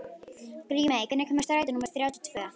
Grímey, hvenær kemur strætó númer þrjátíu og tvö?